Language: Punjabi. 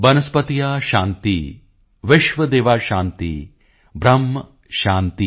ਵਨਸ੍ਪਤਯ ਸ਼ਾਂਤੀ ਵਿਸ਼ਵਦੇਵਾ ਸ਼ਾਂਤੀ ਬ੍ਰਹਮ ਸ਼ਾਂਤੀ